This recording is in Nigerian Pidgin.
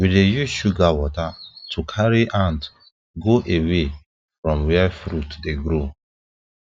we dey use sugar water to carry ant go away from where fruit dey grow